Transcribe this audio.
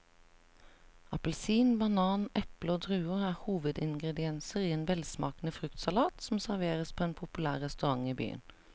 Appelsin, banan, eple og druer er hovedingredienser i en velsmakende fruktsalat som serveres på en populær restaurant i byen.